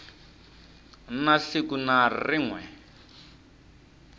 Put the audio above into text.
na siku na rin we